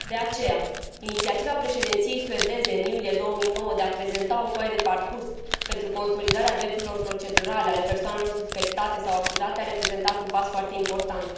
De aceea, inițiativa președinției suedeze din iulie 2009 de a prezenta o foaie de parcurs pentru consolidarea drepturilor procedurale ale persoanelor suspectate sau acuzate a reprezentat un pas foarte important.